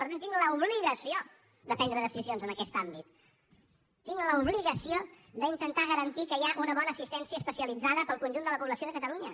per tant tinc l’obligació de prendre decisions en aquest àmbit tinc l’obligació d’intentar garantir que hi ha una bona assistència especialitzada per al conjunt de la població de catalunya